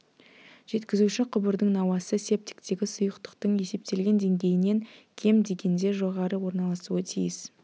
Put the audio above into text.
жеткізуші құбырдың науасы септиктегі сұйықтықтың есептелген деңгейінен кем дегенде жоғары орналасуы тиіс